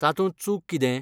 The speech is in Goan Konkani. तातूंत चूक कितें?